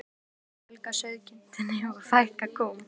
Að ári þarf að fjölga sauðkindinni og fækka kúm.